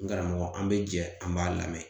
N karamɔgɔ an be jɛ an b'a lamɛn